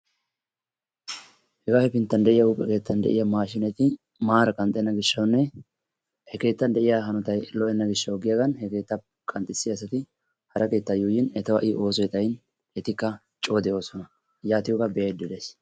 Hegaa hepinttan de'iya qorqqoro keettan de'iya maashiineti maara qanxxenna gishshawunne he keettan de'iya hanotay lo'enna gishshawu giyagan he keettan qanxxissiya asati hara keettaa yuuyyin etawu ha'i oosoy xayin etikka coo de'oosona yaatiyogaa be'ayidda dayis.